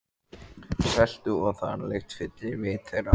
Seltu- og þaralykt fyllir vit þeirra.